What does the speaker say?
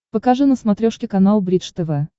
покажи на смотрешке канал бридж тв